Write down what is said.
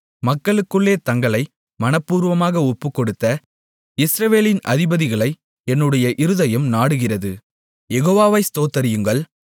மக்களுக்குள்ளே தங்களை மனப்பூர்வமாக ஒப்புக்கொடுத்த இஸ்ரவேலின் அதிபதிகளை என்னுடைய இருதயம் நாடுகிறது யெகோவாவை ஸ்தோத்திரியுங்கள்